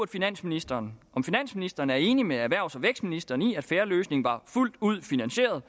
finansministeren om finansministeren er enig med erhvervs og vækstministeren i at fair løsning var fuldt ud finansieret